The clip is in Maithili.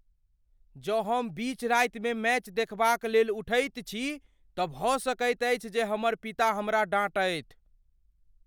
जँ हम बीच रातिमे मैच देखबाक लेल उठैत छी तँ भऽ सकैत अछि जे हमर पिता हमरा डाँटथि।